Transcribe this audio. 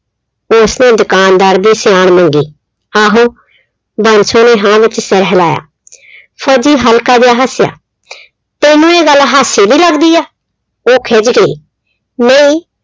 ਉਸਨੇ ਦੁਕਾਨਦਾਰ ਦੀ ਸਿਆਣ ਮੰਗੀ। ਆਹੋ, ਬੰਸੋ ਨੇ ਹਾਂ ਵਿੱਚ ਸਿਰ ਹਿਲਾਇਆ। ਫੌਜੀ ਹਲਕਾ ਜਿਹਾ ਹੱਸਿਆ। ਸੋਨੂੰ ਇਹ ਗੱਲ ਹਾਸੇ ਦੀ ਲੱਗਦੀ ਏ, ਉਹ ਖਿੱਝ ਗਈ, ਨਈ